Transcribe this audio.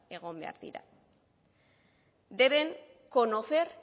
egon behar dira deben conocer